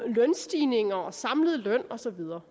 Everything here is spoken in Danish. lønstigninger og samlet løn og så videre